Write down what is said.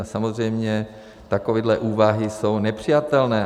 A samozřejmě takové úvahy jsou nepřijatelné.